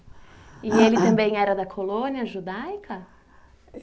E ele também era da colônia judaica?